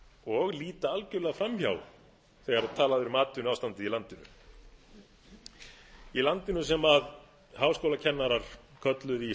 og gera algjörlega framhjá þegar talað er um atvinnuástandið í landinu í landinu sem háskólakennarar kölluðu í